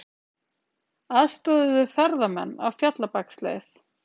Aðstoðuðu ferðamenn á Fjallabaksleið